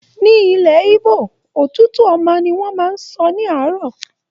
Ní ilẹ̀ Igbo, "otutu oma" ni wọ́n máa ń sọ ní àárọ̀.